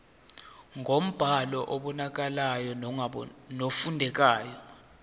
ngombhalo obonakalayo nofundekayo